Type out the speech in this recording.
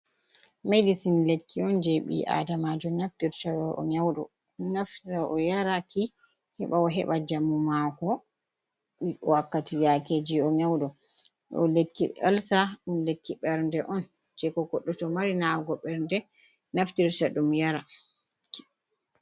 medecin lekki onje bii adamajo naftirta to o nyaudo, naftoro yaraki heba o heba jammu mako wakkati yakeji o nyaudo, do lekki elsa dum lekki bernde on je ko goddo to mari nyawugo bernde naftirta dum Yara.